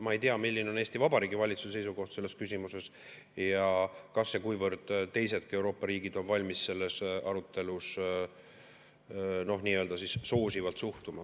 Ma ei tea, milline on Eesti Vabariigi valitsuse seisukoht selles küsimuses ja kas ja kuivõrd teisedki Euroopa riigid on valmis arutelus sellesse nii-öelda soosivalt suhtuma.